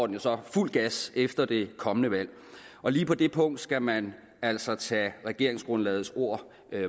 den så fuld gas efter det kommende valg lige på det punkt skal man altså tage regeringsgrundlagets ord